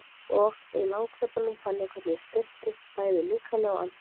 Og í langhlaupunum fann ég hvernig ég styrktist, bæði líkamlega og andlega.